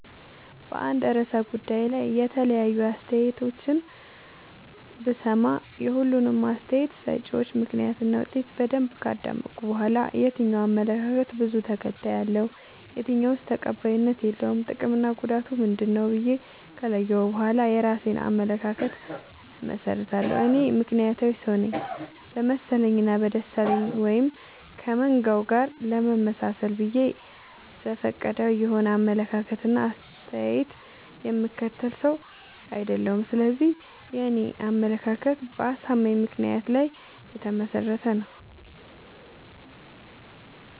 በአንድ እርሰ ጉዳይ ላይ የተለያዩ አይነት አስተያየቶችን ብሰማ። የሁሉንም አስታየት ሰጭወች ምክንያት እና ውጤት በደንብ ካዳመጥኩ በኋላ። የትኛው አመለካከት በዙ ተከታይ አለው። የትኛውስ ተቀባይነት የለውም ጥቅምና ጉዳቱ ምንድ ነው ብዬ ከለየሁ በኋላ የእራሴን አመለካከት አመሠርታለሁ። እኔ ምክንያታዊ ሰውነኝ በመሰለኝ እና በደሳለኝ ወይም ከመንጋው ጋር ለመመጣሰል ብዬ ዘፈቀዳዊ የሆነ አመለካከት እና አስተያየት የምከተል ሰው። አይደለሁም ስለዚህ የኔ አመለካከት በአሳማኝ ምክንያት ላይ የተመሰረተ ነው።